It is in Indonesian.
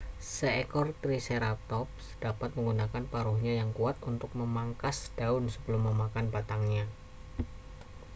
seekor triceratops dapat menggunakan paruhnya yang kuat untuk memangkas daun sebelum memakan batangnya